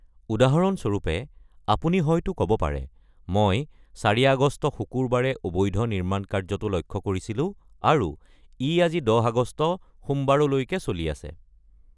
উদাহৰণস্বৰূপে, আপুনি হয়তো ক'ব পাৰে, "মই ৪ আগষ্ট, শুকুৰবাৰে অবৈধ নিৰ্মাণকাৰ্যটো লক্ষ্য কৰিছিলো আৰু ই আজি ১০ আগষ্ট, সোমবাৰলৈকে চলি আছে।"